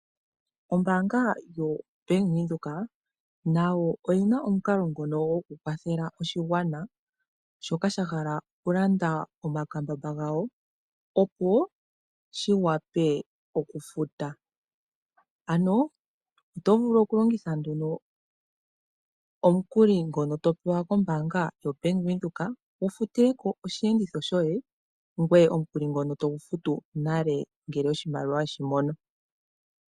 Ombaanga yoBank Windhoek nayo oyi na omukalo ngono gokukwathela oshigwana, shoka sha hala okulanda omakambamba gawo, opo shi wape okufuta. Oto vulu okulongitha nduno omukuli ngono to pewa kombaanga yoBank Windhoek wu futile ko osheenditho shoye ngoye omukuli togu futu nale ngele oshimaliwa we shi mono.